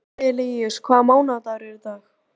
Arilíus, hvaða mánaðardagur er í dag?